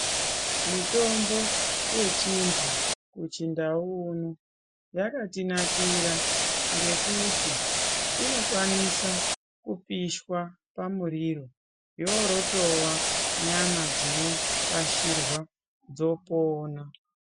Mitombo yechinhu kuchindau uno yakatinakira ngekuti inokwanisa kupishwa pamuriro yoorotowa nyama dzinopashirwa dzopona.